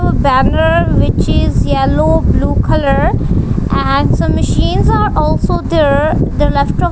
banner which is yellow blue colour and some machines are also there the left of --